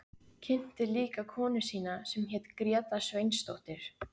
Kynnti líka konu sína sem hét Gréta Sveinsdóttir.